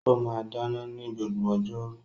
Ó máa ń dáná ní gbogbo ọjọ́ rú